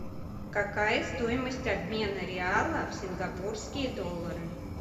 какая стоимость обмена реала в сингапурские доллары